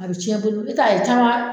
A bɛ cɛn i bolo i bɛ taa ye